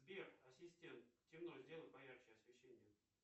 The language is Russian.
сбер ассистент темно сделай поярче освещение